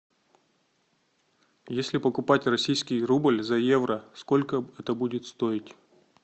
если покупать российский рубль за евро сколько это будет стоить